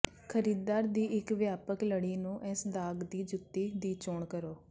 ਖਰੀਦਦਾਰ ਦੀ ਇੱਕ ਵਿਆਪਕ ਲੜੀ ਨੂੰ ਇਸ ਦਾਗ ਦੀ ਜੁੱਤੀ ਦੀ ਚੋਣ ਕਰੋ